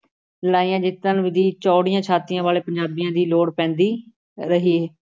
ਲੜਾਈਆਂ ਜਿੱਤਣ ਦੀ ਚੌੜੀਆਂ ਛਾਤੀਆਂ ਵਾਲੇ ਪੰਜਾਬੀਆਂ ਦੀ ਲੋੜ ਪੈਂਦੀ ਰਹੀ।